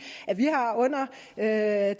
at